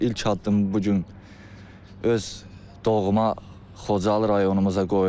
Mən ilk addımı bu gün öz doğma Xocalı rayonumuza qoyuram.